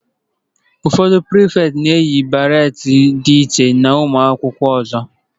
Ụfọdụ Pirifeti na-eyi beret dị iche na ụmụ akwụkwọ ndị ọzọ.